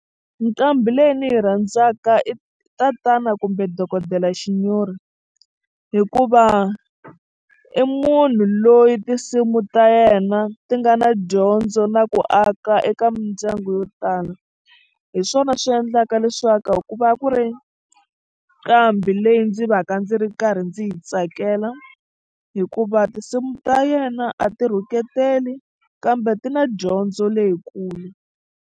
Nqambi leyi ndzi yi rhandzaka i tatana kumbe dokodela Shinyori hikuva i munhu loyi tinsimu ta yena ti nga na dyondzo na ku aka eka mindyangu yo tala hi swona swi endlaka leswaku i ku va a ku ri nqambi leyi ndzi va ka ndzi ri karhi ndzi yi tsakela hikuva tinsimu ta yena a ti rhuketeli kambe ti na dyondzo leyikulu.